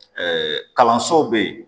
kalanso bɛ yen